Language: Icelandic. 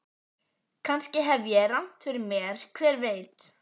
Kannski hef ég rangt fyrir mér, hver veit?